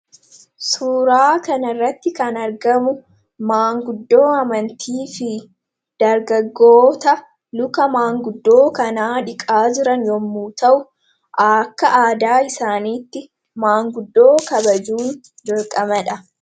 Suuraa kanarratti kan argamu maanguddoo amantii fi dargaggoota like maanguddoo kanaa dhuqaa jiran yommuu ta'u, akka aadaa isaaniitti maanguddoo kabajuun dirqamadha.